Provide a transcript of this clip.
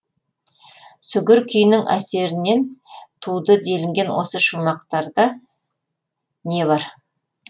сүгір күйінің әсерінен туды делінген осы шумақтарда не бар